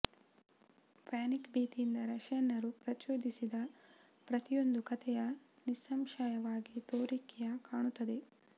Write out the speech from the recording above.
panic ಭೀತಿಯಿಂದ ರಷ್ಯನ್ನರು ಪ್ರಚೋದಿಸಿದ ಪ್ರತಿಯೊಂದು ಕಥೆಯ ನಿಸ್ಸಂಶಯವಾಗಿ ತೋರಿಕೆಯ ಕಾಣುತ್ತದೆ